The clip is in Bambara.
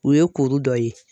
U ye kuru dɔ ye.